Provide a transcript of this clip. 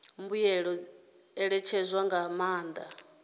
mbuelo dzi ṋetshedzwa nga maanḓa